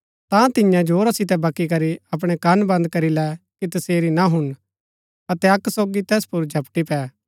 ता तिन्ये जोरा सितै बक्की करी अपणै कन बन्द करी लै कि तसेरी ना हुणन अतै अक्क सोगी तैस पुर झपटी पै